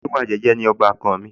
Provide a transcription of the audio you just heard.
oníwà jẹ́jẹ́ ni ọbàkan mi